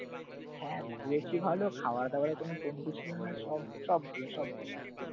হ্যাঁ, ঘুরেছি ভালো, খাওয়াদাওয়ারও কোনো কমতি ছিল না, সব সব ভালো, সব ভালো